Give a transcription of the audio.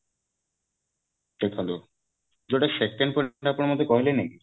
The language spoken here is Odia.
ଦେଖନ୍ତୁ ଯୋଉଟା second fundamental ଆପଣ ମତେ କହିଲେନି କି